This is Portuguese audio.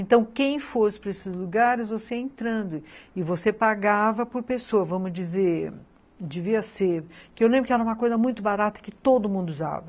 Então, quem fosse para esses lugares, você ia entrando e você pagava por pessoa, vamos dizer, devia ser, que eu lembro que era uma coisa muito barata que todo mundo usava.